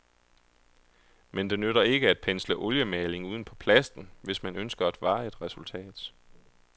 Men det nytter ikke at pensle oliemaling uden på plasten, hvis man ønsker et varigt resultat.